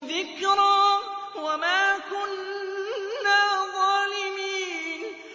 ذِكْرَىٰ وَمَا كُنَّا ظَالِمِينَ